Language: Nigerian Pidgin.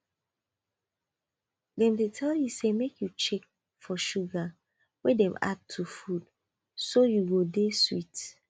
dem dey tell you say make you check for sugar wey dem add to food so you go dey sweet